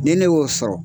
Ni ne y'o sɔrɔ